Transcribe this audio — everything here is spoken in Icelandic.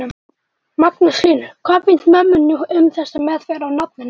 Magnús Hlynur: Hvað finnst mömmunni um þessa meðferð á nafninu?